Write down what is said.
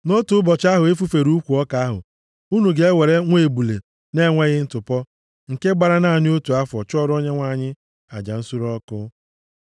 Nʼotu ụbọchị ahụ e fufere ukwu ọka ahụ, unu ga-ewere nwa ebule na-enweghị ntụpọ, nke gbara naanị otu afọ, chụọrọ Onyenwe anyị aja nsure ọkụ.